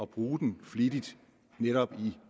bruge den flittigt netop i